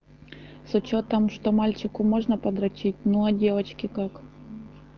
с учётом что мальчику можно по дрочить ну а девочке как